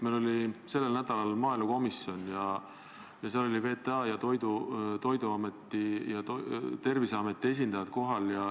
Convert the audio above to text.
Meil oli sellel nädalal maaelukomisjoni koosolek ja seal olid kohal VTA ja Terviseameti esindajad.